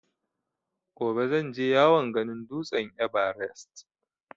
Gobe zan je yawon ganin dutsen ''Everest''.